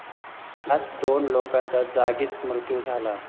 यात दोन लोकांचा जागीच मृत्यू झाला